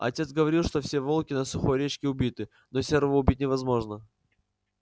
отец говорил что все волки на сухой речке убиты но серого убить невозможно